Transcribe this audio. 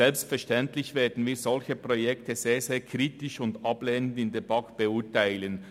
Selbstverständlich werden wir solche Projekte sehr, sehr kritisch und ablehnend in der BaK beurteilen.